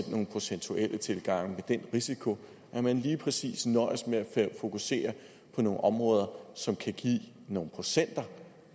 nogle procentuelle tilgange med den risiko at man lige præcis nøjes med at fokusere på nogle områder som kan give nogle procenter